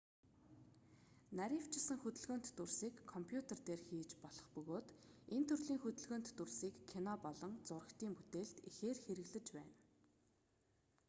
нарийвчилсан хөдөлгөөнт дүрсийг компьютер дээр хийж болох бөгөөд энэ төрлийн хөдөлгөөнт дүрсийг кино болон зурагтын бүтээлд ихээр хэрэглэж байна